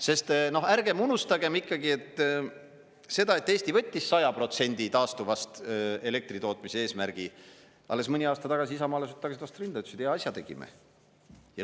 Sest ärgem unustagem ikkagi seda, et Eesti võttis 100% taastuvast elektri tootmise eesmärgi ja alles mõni aasta tagasi isamaalased tagusid vastu rindu ja ütlesid: "Hea asja tegime.